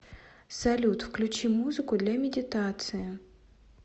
салют включи музыку для медитации